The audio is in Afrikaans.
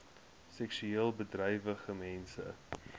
seksueel bedrywige mense